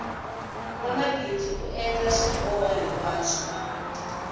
nwamabindzu u endla swiboho hinkwaswo